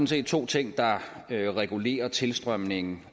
set to ting der regulerer tilstrømningen